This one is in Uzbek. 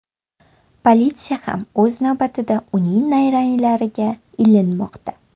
Politsiya ham o‘z navbatida uning nayranglariga ilinmoqda.